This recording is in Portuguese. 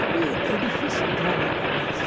Também é difícil entrar na cabeça.